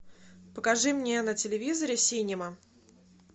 покажи мне на телевизоре синема